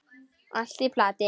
Allt í plati.